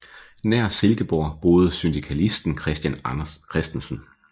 Nær Silkeborg boede syndikalisten Christian Christensen